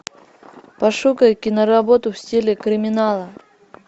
пошукай киноработу в стиле криминала